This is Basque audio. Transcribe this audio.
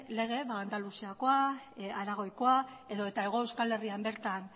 lege andaluziakoa aragoikoa edota hego euskal herrian bertan